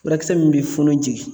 Furakisɛ min bɛ funu jigi